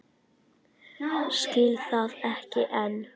Skil það ekki enn.